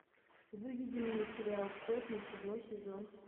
выведи мне сериал сотня седьмой сезон